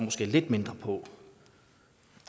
se lidt mindre på